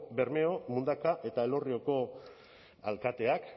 bermeo mundaka eta elorrioko alkateak